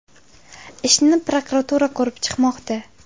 Ishni prokuratura ko‘rib chiqmoqda.